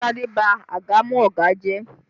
Tade ba àgàmú ọ̀gá ẹ jẹ́!